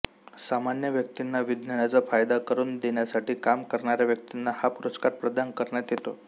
सामान्य व्यक्तींना विज्ञानाचा फायदा करून देण्यासाठी काम करणाऱ्या व्यक्तींना हा पुरस्कार प्रदान करण्यात येतो